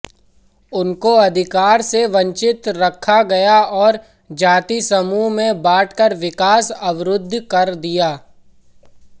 उनको अधिकार से वंचित रखा गया और जाति समूह में बांटकर विकास अवरुद्ध कर दिया